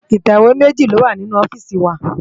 Itéwé méji lówá ninú òfìsí wá